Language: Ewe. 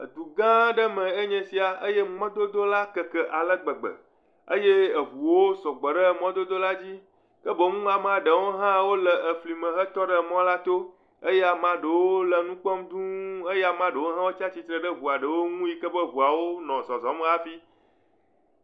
Du gã aɖe me enye esia eye mɔdodo la keke ale gbegbe eye ŋuwo sugbɔ ɖe mɔdodo la dzi eye amea ɖewo hã le fli me va tɔ ɖe mɔ to. Ame ɖewo le nu kpɔm dũu eye ame ɖewo hã tsitre ɖe ŋuawo ŋu yi ke ŋuawo nɔ zɔzɔm hafi.